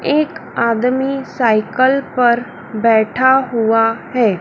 एक आदमी साइकल पर बैठा हुआ है।